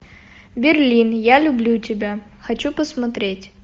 берлин я люблю тебя хочу посмотреть